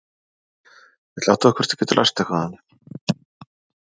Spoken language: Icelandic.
Ég ætla að athuga hvort ég get lært eitthvað af henni.